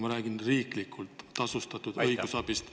Ma räägin riiklikult tasustatud õigusabist.